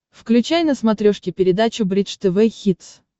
включай на смотрешке передачу бридж тв хитс